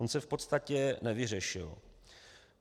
On se v podstatě nevyřešil.